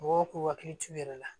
Mɔgɔw k'u hakili t'u yɛrɛ la